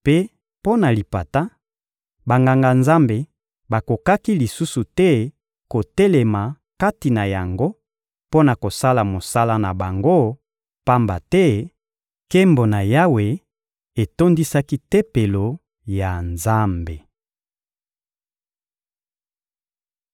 Mpe mpo na lipata, Banganga-Nzambe bakokaki lisusu te kotelema kati na yango mpo na kosala mosala na bango, pamba te nkembo na Yawe etondisaki Tempelo ya Nzambe.